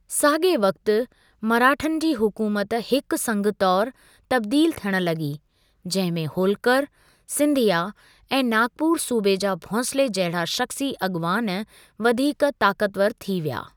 साॻिए वक़्ति, मराठनि जी हुकूमत हिकु संघ तौर तब्दीलु थियणु लॻी, जंहिं में होलकरु, सिंधिया ऐं नागपुर सूबे जा भोंसले जहिड़ा शख़्सी अॻुवान वधीक ताकतवर थी विया।